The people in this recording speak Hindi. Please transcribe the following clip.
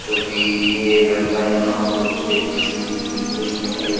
जो भी ये लड़का यहाँ कुछ किसी चीज़ की खोज करने देगा --